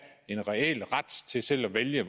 en reel ret til selv at vælge